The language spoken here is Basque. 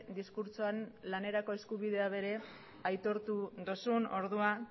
diskurtsoan lanerako eskubidea ere aitortu duzun orduan